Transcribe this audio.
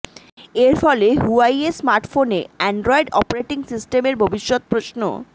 এর ফলে হুয়াওয়েই স্মার্টফোনে অ্যানড্রয়েড অপারেটিং সিস্টেমের ভবিষ্যত প্রশ